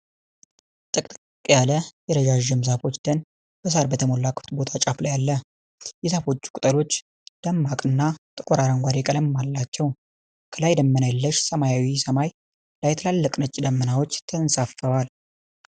ጥቅጥቅ ያለ የረዣዥም ዛፎች ደን በሣር በተሞላ ክፍት ቦታ ጫፍ ላይ አለ። የዛፎቹ ቅጠሎች ደማቅና ጥቁር አረንጓዴ ቀለም አላቸው። ከላይ ደመና የለሽ ሰማያዊ ሰማይ ላይ ትልልቅ ነጭ ደመናዎች ተንሳፈዋል።